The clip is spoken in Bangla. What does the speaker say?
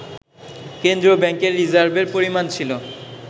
কেন্দ্রীয় ব্যাংকের রিজার্ভের পরিমাণ ছিল